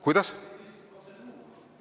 Kuidas?